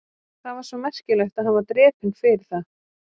Það var svo merkilegt að hann var drepinn fyrir það?